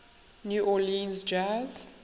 new orleans jazz